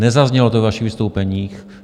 Nezaznělo to z vašich vystoupení.